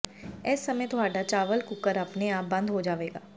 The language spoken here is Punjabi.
ਇਸ ਸਮੇਂ ਤੁਹਾਡਾ ਚਾਵਲ ਕੂਕਰ ਆਪਣੇ ਆਪ ਬੰਦ ਹੋ ਜਾਵੇਗਾ